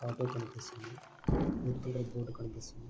Auto కనిపిస్తున్నది red colour కనిపిస్తున్నది .